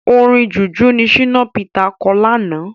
Orin Jùjú ni Shina Peter kọ lánàá.